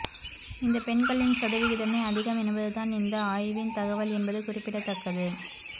இந்த பெண்களின் சதவிகிதமே அதிகம் என்பதுதான் இந்த ஆய்வின் தகவல் என்பது குறிப்பிடத்தக்கது